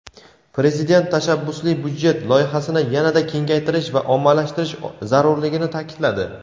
Prezident "Tashabbusli byudjet" loyihasini yana-da kengaytirish va ommalashtirish zarurligini taʼkidladi.